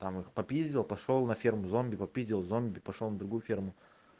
там их попиздил пошёл на ферму зомби попиздил зомби пошёл на другую ферму